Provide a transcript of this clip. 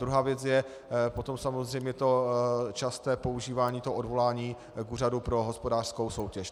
Druhá věc je potom samozřejmě to časté používání toho odvolání k Úřadu pro hospodářskou soutěž.